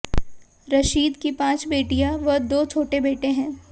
रशीद की पांच बेटियां व दो छोटे बेटे हैं